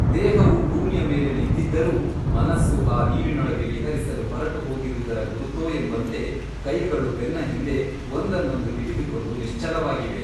ದೇಹವು ಭೂಮಿಯ ಮೇಲೆ ನಿಂತಿದ್ದರೂ ಮನಸ್ಸು ಆ ನೀರಿನೊಳಗೆ ವಿಹರಿಸಲು ಹೊರಟುಹೋಗಿರುವುದರ ಗುರುತೋ ಎಂಬಂತೆ ಕೈಗಳು ಬೆನ್ನಹಿಂದೆ ಒಂದನ್ನೊಂದು ಹಿಡಿದುಕೊಂಡು ನಿಶ್ಚಲವಾಗಿವೆ.